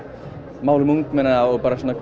málum ungmenna og